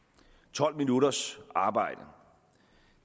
tolv minutters arbejde